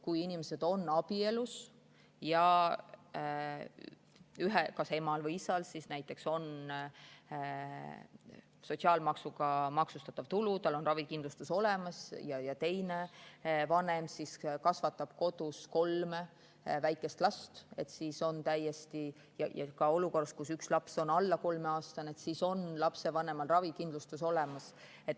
Kui inimesed on abielus ja kas emal või isal näiteks on sotsiaalmaksuga maksustatav tulu, tal on ravikindlustus olemas ja teine vanem kasvatab kodus kolme väikest last, siis, ja ka olukorras, kus üks laps on alla kolmeaastane, on lapsevanemal ravikindlustus olemas.